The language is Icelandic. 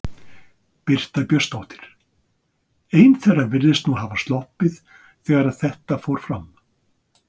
Birta Björnsdóttir: Ein þeirra virðist nú hafa sloppið þegar að þetta fór fram?